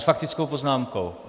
S faktickou poznámkou.